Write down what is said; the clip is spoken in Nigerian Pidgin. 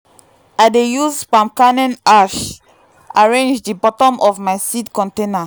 i dey use palm kernel ash arrange the bottom of my seed container.